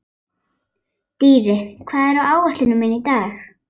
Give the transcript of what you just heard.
Dýri, hvað er á áætluninni minni í dag?